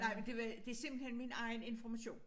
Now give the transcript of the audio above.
Nej men det var det simpelthen min egen information